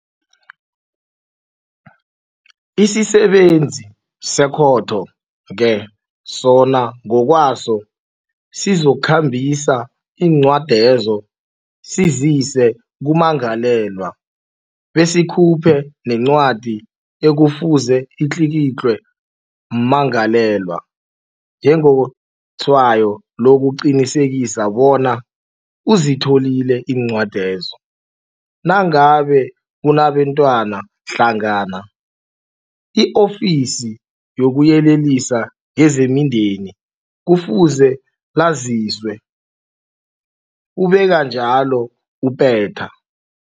Isisebenzi sekhotho-ke sona ngokwaso sizokhambisa iincwadezo sizise kummangalelwa besikhuphe nencwadi ekufuze itlikitlwe mmangalelwa njengetshwayo lokuqinisekisa bona uzitholile iincwadezo. Nangabe kunabentwana hlangana, i-Ofisi lokuYelelisa ngezeMindeni kufuze laziswe, ubeka njalo u-Peta.